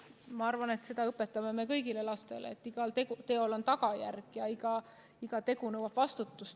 Ma arvan, et õpetame kõigile lastele seda, et igal teol on tagajärg ja iga tegu nõuab vastutust.